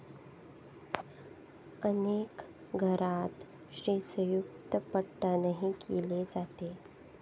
अनेक घरांत श्रीसयुक्तपठणही केले जाते.